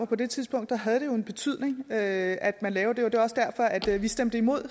på det tidspunkt havde en betydning at at man lavede det det var også derfor at vi stemte imod